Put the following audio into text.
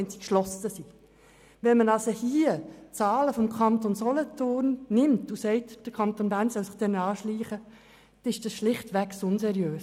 Wenn also die Zahlen des Kantons Solothurn herangezogen werden und gesagt wird, der Kanton Bern solle sich diesen annähern, ist dies schlichtweg unseriös;